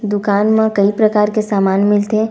दूकान म कई प्रकार के सामान मिलथे--